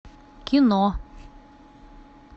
кино